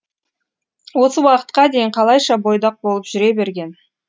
осы уақытқа дейін қалайша бойдақ болып жүре берген